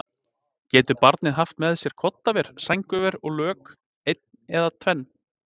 Getur barnið haft með sér koddaver, sængurver og lök, ein eða tvenn?